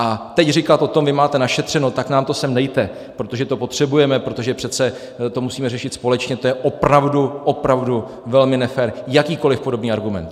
A teď říkat o tom "vy máte našetřeno, tak nám to sem dejte, protože to potřebujeme, protože přece to musíme řešit společně", to je opravdu, opravdu velmi nefér, jakýkoli podobný argument.